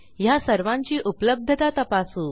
ह्या सर्वांची उपलब्धता तपासू